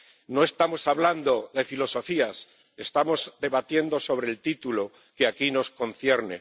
No estamos hablando de filosofías, estamos debatiendo sobre el título que aquí nos concierne.